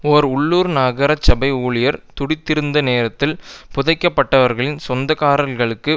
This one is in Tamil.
ஒரு உள்ளூர் நகரசபை ஊழியர் குடித்திருந்த நேரத்தில் புதைக்கப்பட்டவர்களின் சொந்தக்காரர்களுக்கு